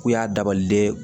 K'u y'a dabaliden